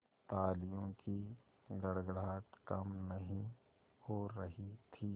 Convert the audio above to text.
तालियों की गड़गड़ाहट कम नहीं हो रही थी